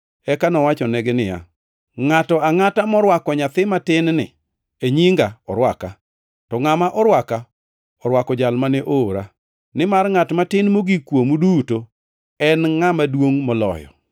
Eka nowachonegi niya, “Ngʼato angʼata morwako nyathi matin-ni e nyinga orwaka, to ngʼama orwaka, orwako jal mane oora. Nimar ngʼat matin mogik kuomu duto en ngʼama duongʼ moloyo.”